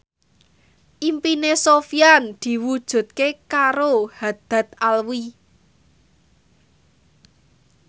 impine Sofyan diwujudke karo Haddad Alwi